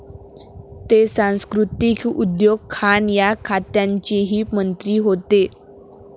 ते सांस्कृतीक, उद्योग, खाण या खात्यांचेही मंत्री होते.